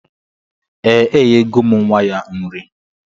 Ee, enyego m nwa ya nri